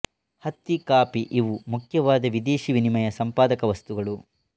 ಹತ್ತಿ ಕಾಫಿ ಇವು ಮುಖ್ಯವಾದ ವಿದೇಶಿ ವಿನಿಮಯ ಸಂಪಾದಕ ವಸ್ತುಗಳು